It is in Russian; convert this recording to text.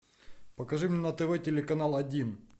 покажи мне на тв телеканал один